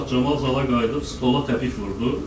Bu vaxt Camal zala qayıdıb stola təpik vurdu.